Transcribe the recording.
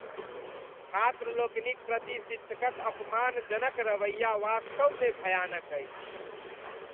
छात्र लोकनि क प्रति शिक्षकक अपमानजनक रवैया वास्तवमे भयानक अछि।